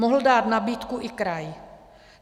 Mohl dát nabídku i kraj.